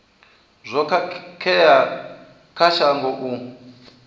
zwo khakhea kha shango u